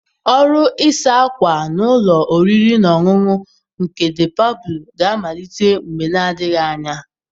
Ọrụ ịsa ákwà na ụlọ oriri n'ọṅụṅụ nke De Pabụlo ga-amalite mgbe na-adịghị anya